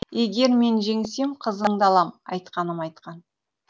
егер мен жеңсем қызыңды алам айтқаным айтқан